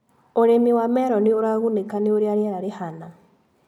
ũrĩmi wa meroni ũragunĩka nĩ ũrĩa riera rĩhana.